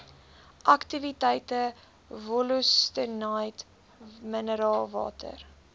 aktiwiteite wollostonite mineraalwater